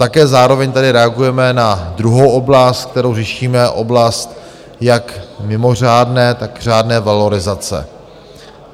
Také zároveň tady reagujeme na druhou oblast, kterou řešíme, oblast jak mimořádné, tak řádné valorizace.